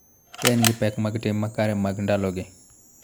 Ka en gi pek mag tim makare mag ndalogi.